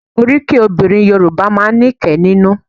Oríkì obìnrin Yorùbá máa ń ní kẹ́ nínú